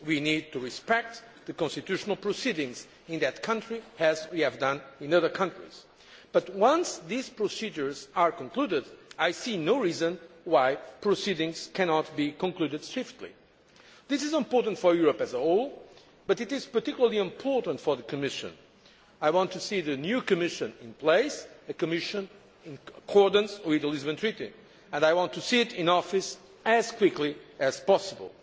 We need to respect the constitutional proceedings in that country, as we have done in other countries, but once these procedures are concluded, I see no reason why proceedings cannot be concluded swiftly. This is important for Europe as a whole, but it is particularly important for the Commission. I want to see the new Commission in place, a Commission in accordance with the Lisbon Treaty, and I want to see it in office as quickly as possible.